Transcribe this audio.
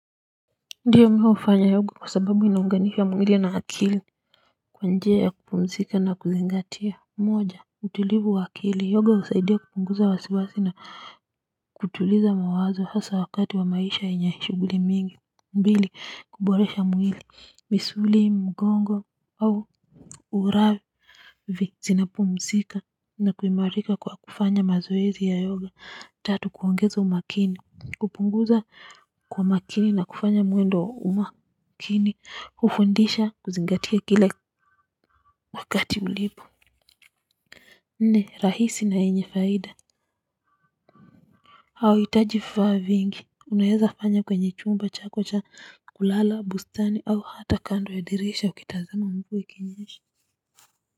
Ndiyo mimi hufanya yoga kwa sababu inaunganisha muili na akili kwa njia ya kupumzika na kuzingatia moja utulivu wa akili yoga usaidia kupunguza wa siwasi na kutuliza mawazo hasa wakati wa maisha yenye shuguli mingi mbili kuboresha mwili misuli mgongo au uravi zinapumzika na kuimarika kwa kufanya mazoezi ya yoga tatu kuongeza umakini kupunguza kwa makini na kufanya mwendo wa makini kufundisha kuzingatia kile wakati ulipo nne rahisi na enye faida au itajififa vingi unaheza fanya kwenye chumba chako cha kulala bustani au hata kando ya dirisha ukitazama mvuwa ikinyesha.